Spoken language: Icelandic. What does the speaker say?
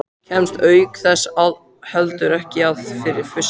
Kemst auk þess heldur ekki að fyrir fussi